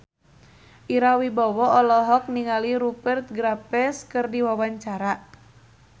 Ira Wibowo olohok ningali Rupert Graves keur diwawancara